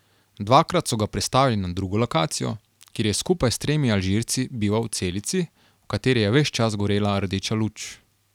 Dvakrat so ga prestavili na drugo lokacijo, kjer je skupaj s tremi Alžirci bival v celici, v kateri je ves čas gorela rdeča luč.